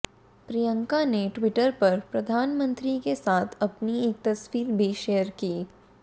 प्रियंका ने ट्वीटर पर प्रधानमंत्री के साथ अपनी एक तस्वीर भी शेयर की